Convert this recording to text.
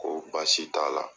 Ko baasi t'a la.